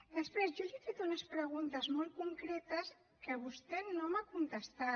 després jo li he fet unes preguntes molt concretes que vostè no m’ha contestat